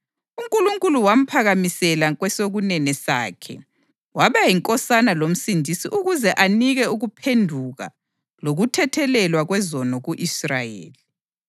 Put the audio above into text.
UNkulunkulu wamphakamisela kwesokunene sakhe waba yiNkosana loMsindisi ukuze anike ukuphenduka lokuthethelelwa kwezono ku-Israyeli.